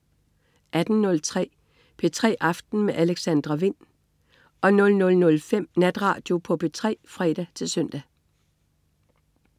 18.03 P3 aften med Alexandra Wind 00.05 Natradio på P3 (fre-søn)